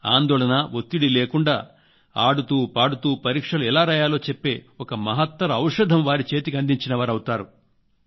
ఆందోళన ఒత్తిడి లేకుండాఆడుతూ పాడుతూ పరీక్షలు ఎలా రాయాలో చెప్పే ఒక మహత్తర ఔషధం వారి చేతికి అందించిన వారవుతారు